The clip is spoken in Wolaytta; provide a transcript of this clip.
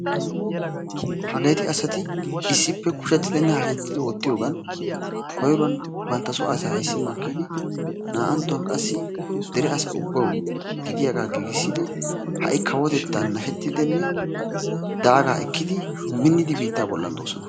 Hageeti asati issippe kushetidinne hashetidi oottiyoogan koyruwan bantta so asaa ayssi makkidi naa''anttuwan qassi dere asaa ubbawu gidiyaaga giigissidi ha'i kawotettan nashettidinne daaga ekkidi minnidi biitta bollan doosona.